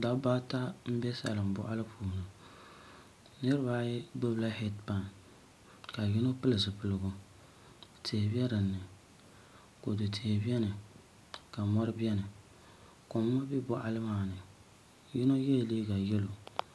Dabba ata n bɛ salin boɣali puuni niraba ata gbubila heed pai ka yino pili zipiligu tihi bɛ dinni kodu tihi biɛni ka mori biɛni koma bɛ boɣali maa ni yino yɛla liiga yɛlo